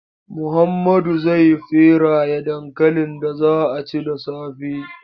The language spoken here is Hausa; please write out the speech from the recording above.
Muhammadu zai feraye dankalin da za a ci da safe.